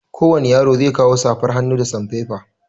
Kowani yaro zai kawo safar hannu da sanfefa.